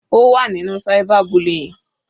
Ó wà nínú cyber bullying.